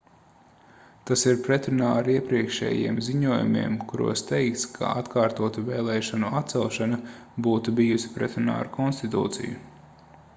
tas ir pretrunā ar iepriekšējiem ziņojumiem kuros teikts ka atkārtotu vēlēšanu atcelšana būtu bijusi pretrunā ar konstitūciju